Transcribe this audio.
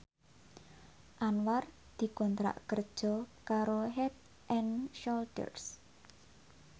Anwar dikontrak kerja karo Head and Shoulder